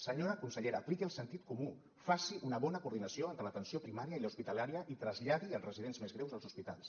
senyora consellera apliqui el sentit comú faci una bona coordinació entre l’atenció primària i l’hospitalària i traslladi els residents més greus als hospitals